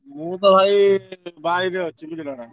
ମୁଁ ତ ଭାଇ ।